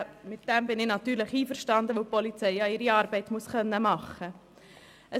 Mit dem bin ich natürlich einverstanden, weil die Polizei ihre Arbeit machen können muss.